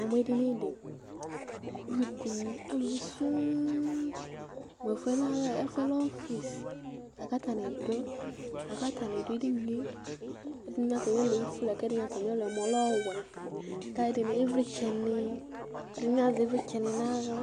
Namʋ edini dɩ kʋ alʋ nɩ akɔ Alɛaluvi nɩ sɔŋ Mʋ ɛfʋɛ lɛ mɛe? Ɛfʋɛ lɛ ɔfɩsɩ lakʋ atanɩ adʋ Atanɩ adʋ edini yɛ kʋ ɛdɩnɩɛlʋ lɛ ofue, ɛdɩnɩɛlʋ lɛ ɔwɛ, lakʋ atanɩ azɛ ɩvlɩtsɛ nʋ aɣla